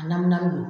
A namu na bi